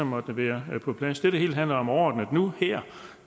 måtte være på plads det det hele handler om overordnet nu og her